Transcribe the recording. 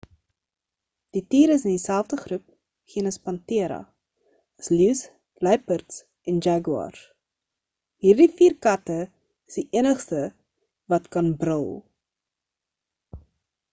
die tier is in dieselfde groep genus panthera as leeus luiperds en jaguars. hierdie vier katte is die enigstes wat kan brul